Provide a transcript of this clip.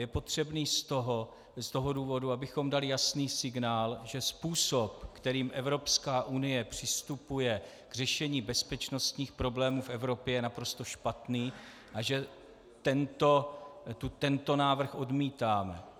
Je potřebný z toho důvodu, abychom dali jasný signál, že způsob, kterým Evropská unie přistupuje k řešení bezpečnostních problémů v Evropě, je naprosto špatný a že tento návrh odmítáme.